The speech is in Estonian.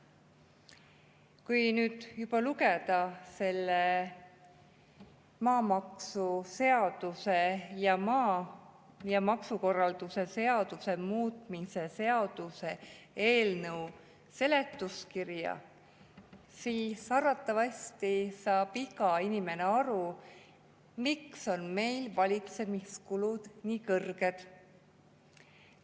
Kui nüüd lugeda selle maamaksuseaduse ja maksukorralduse seaduse muutmise seaduse eelnõu seletuskirja, siis arvatavasti saab iga inimene aru, miks on meil valitsemiskulud nii kõrged.